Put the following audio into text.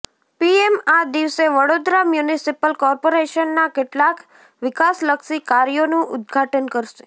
PM આ દિવસે Vadodara municipal કોર્પોરેશનના કેટલાક વિકાસલક્ષી કાર્યોનું ઉદ્ઘાટન કરશે